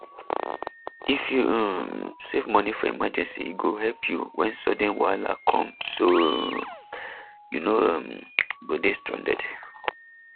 if you um save money for emergency e go help you when sudden wahala come so um you no um go dey stranded